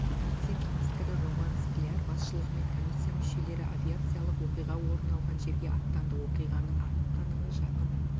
вице-министрі роман скляр басшылығымен комиссия мүшелері авиациялық оқиға орын алған жерге аттанды оқиғаның анық-қанығы жақын